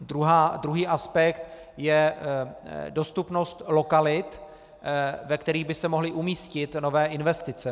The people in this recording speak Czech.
Druhý aspekt je dostupnost lokalit, ve kterých by se mohly umístit nové investice.